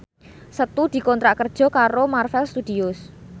Setu dikontrak kerja karo Marvel Studios